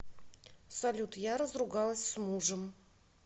салют я разругалась с мужем